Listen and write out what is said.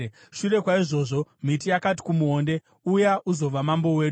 “Shure kwaizvozvo, miti yakati kumuonde, ‘Uya uzova mambo wedu.’